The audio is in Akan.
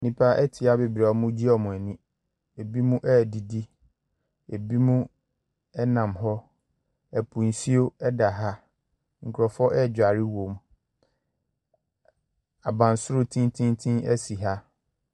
Nnipa ɛte ha beberee a wɔnmmo ɛgye wɔn ani ebinom adidi ebinom ɛnam hɔ ɛpo nsuo ɛda ha nkurɔfoɔ adware wɔ mu abansoro tententen asi ha.